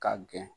K'a gɛn